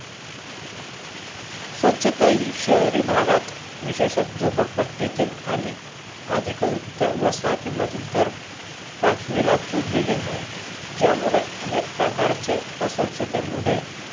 स्वच्छता हि शहरी भागात विशेष झोपडपट्टीतील आणि अधिकवृत्या वसाहतीमध्ये तर पाचवीला पुजलेली हाय. ज्यामुळे अनेक प्रकारचे अस्वच्छतेमुळे